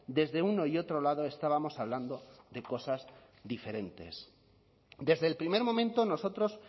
desde uno y otro lado estábamos hablando de cosas diferentes desde el primer momento nosotros